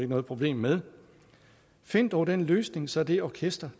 noget problem med find dog den løsning så det orkester